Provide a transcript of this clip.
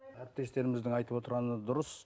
әріптестеріміздің айтып отырғаны дұрыс